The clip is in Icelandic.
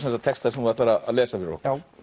texta sem þú ætlar að lesa fyrir